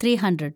three hundred